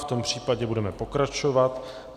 V tom případě budeme pokračovat.